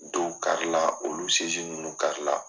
Dow kari la olu ninnu kari la.